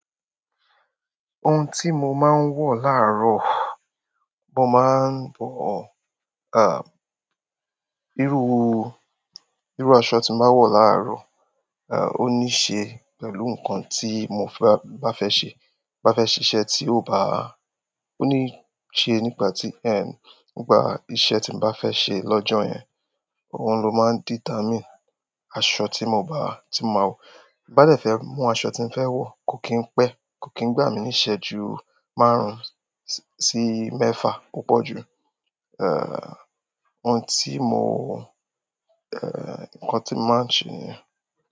Ohun tí mo máa ń wọ̀ láàárọ̀, bó mo máa ń bọ̀, à, irú, irú aṣọ tí máa wọ̀ láàárọ̀, à, ó ní ṣe pẹ̀lú nǹkan tí mo bá fẹ́ ṣe, bá fẹ́ ṣíṣe tí ó bá, ó ní ṣe nípa tí, ẹ́, nípa iṣẹ́ tí mo bá fẹ́ ṣe lọ́jọ́ yẹn. Òhun ló máa ń dìtámìn aṣọ tí mo bá, tí mo máa wọ̀. Bá dẹ̀ fẹ́ mú aṣọ tí ń fẹ́ wọ̀, kò kín pẹ́, kò kín gbà mí níí ìsẹ́jú márùn-ún sí mẹ́fà púpọ̀ jù. È, ohun tí mo, è, ǹkan tí máa ń ṣe nìyẹn.